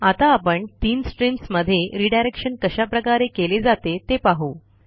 आता आपण तीन streamsमध्ये रिडायरेक्शन कशाप्रकारे केले जाते ते पाहू